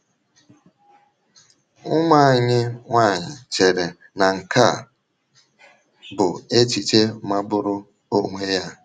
Ụmụ anyị nwanyị chere na nke a bụ echiche magburu onwe ya.